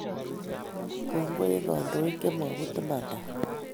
Kongoi en kandoik che maput imanadaab